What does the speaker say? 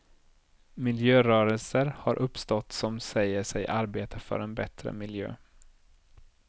Miljörörelser har uppstått som säger sig arbeta för en bättre miljö.